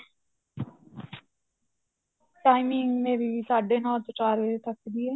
timing ਮੇਰੀ ਸਾਢੇ ਨੋ ਤੋਂ ਚਾਰ ਵਜੇ ਤੱਕ ਦੀ ਏ